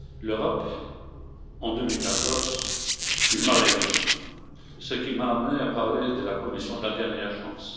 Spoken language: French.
L'Europe, en 2014, était mal aimé, ce qui m'a amené à parler de la Commission de la dernière chance.